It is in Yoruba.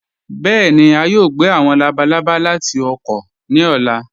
Bẹẹni, à yòò gbẹ̀ àwọn làbàlàbà láti ọ̀kọ̀ ní ọ̀là.